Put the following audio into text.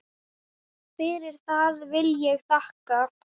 Fyrir það vil ég þakka.